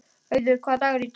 Auður, hvaða dagur er í dag?